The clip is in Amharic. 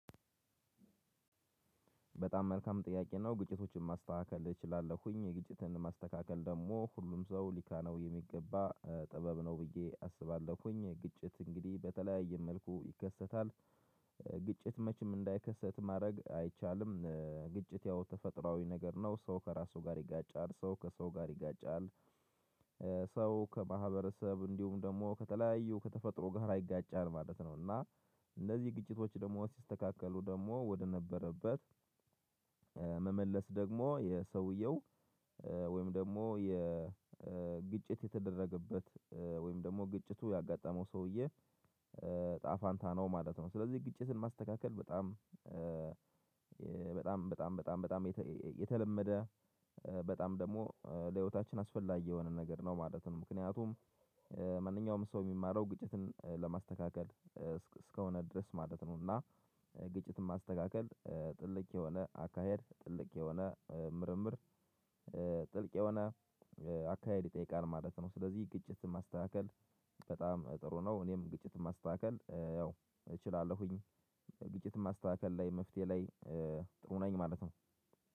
በጣም መልካም ጥያቄ ነው? ግጭቶችን ማስተካከል እችላለሁኝ ግጭትን ማስተካከል ደግሞ ሁሉም ሰው ሊካነው የሚገባ ጥበብ ነው ብዬ አስባለሁኝ። ግጭት እንግዲህ በተለያየ መልኩ ይከሰታል። ግጭት መቼም እንዳይከሰት ማድረግ አይቻልም። ግጭት ያው ተፈጥሮአዊ ነገር ነው ሰው ከራሱ ጋር ይጋጫል ሰው ከሰው ጋር ይጋጫል። ሰው ከማህበረሰብ እንዲሁም ደግሞ ከተለያዩ ከተፈጥሮ ጋር ይጋጫል ማለት ነው። እና እንደዚህ ግጭቶች ደግሞ ሲስተካከሉ ደግሞ ወደነበረበት መመለስ ደግሞ የሰውየው ወይም ደግሞ የግጭት የተደረገበት ወይም ደግሞ ግጭቱ ያጋጠመው ሰውዬ እጣፋንታ ነው ማለት ነው። ስለዚህ ግጭትን ማስተካከል በጣም በጣም በጣም በጣም በጣም በጣም የተለመደ በጣም ደግሞ ለህይወታችን አስፈላጊ የሆነ ነገር ነው ማለት ነው። ምክንያቱም ማንኛውም ሰው የሚማረው ግጭትን ለማስተካከል እስከሆነ ድረስ ማለት ነው እና ግጭትን ማስተካከል ጥልቅ የሆነ አካሄድ ጥልቅ የሆነ ምርምር ጥልቅ የሆነ አካሄድ ይጠይቃል ማለት ነው። ስለዚህ ግጭት ማስተካከል በጣም ጥሩ ነው። እኔም ግጭትን ማስተካከል ያው እችላለሁኝ። ግጭት ማስተካከል ላይ መፍትሄ ላይ ጥሩ ነኝ ማለት ነው።